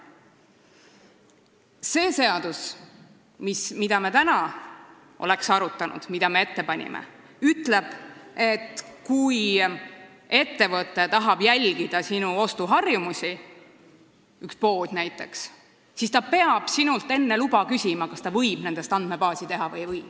See seadus, mida me ette panime ja mida me täna oleks arutanud, ütleb, et kui üks ettevõte tahab jälgida sinu ostuharjumusi, siis ta peab sinult enne luba küsima, kas ta võib nendest andmebaasi teha või ei või.